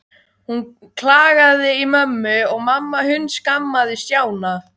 Hún klagaði í mömmu og mamma hundskammaði Stjána.